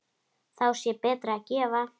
Þá sé betra að gefa.